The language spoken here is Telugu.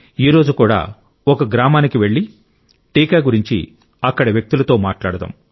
ఈ రోజు కూడా ఒక గ్రామానికి వెళ్లి టీకా గురించి అక్కడి వ్యక్తులతో మాట్లాడుదాం